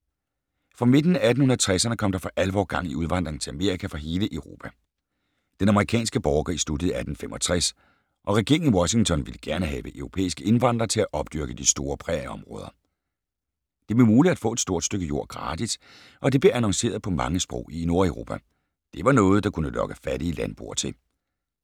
Fra midten af 1860'erne kom der for alvor gang i udvandringen til Amerika fra hele Europa. Den amerikanske borgerkrig sluttede i 1865 og regeringen i Washington ville gerne have europæiske indvandrere til at opdyrke de store prærieområder. Det blev muligt at få et stort stykke jord gratis, og det blev annonceret på mange sprog i Nordeuropa. Det var noget, der kunne lokke fattige landboere til.